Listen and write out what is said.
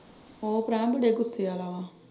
ਹੋਰ ਰਹਿਣ ਦੇ ਗੁੱਸੇ ਆਲਾ ਵਾ।